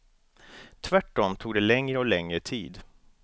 Tvärt om tog det längre och längre tid.